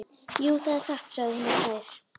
Jú, það er satt, sögðu hinar tvær.